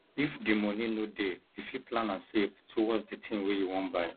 if di moni no dey you fit plan and save towards the tin wey you wan buy